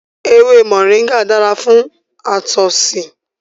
Ewé moringa dára fún àtọ̀sí